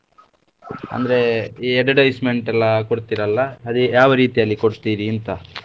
ಅಂದ್ರೆ ಈ advertisement ಎಲ್ಲಾ ಕೊಡ್ತೀರಲ್ಲ ಅದೇ ಯಾವ ರೀತಿಯಲ್ಲಿ ಕೊಡ್ತೀರಿ ಅಂತ?